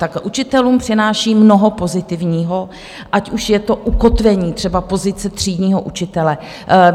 Tak učitelům přináší mnoho pozitivního, ať už je to ukotvení třeba pozice třídního učitele.